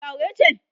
matar aure ce?